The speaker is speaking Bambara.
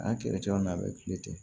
An kɛlɛcɛw n'a bɛ kule ten